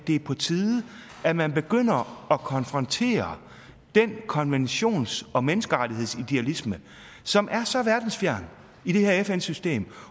det er på tide at man begynder at konfrontere den konventions og menneskerettighedsidealisme som er så verdensfjern i det her fn system